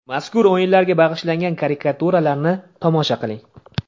Mazkur o‘yinlarga bag‘ishlangan karikaturalarni tomosha qiling.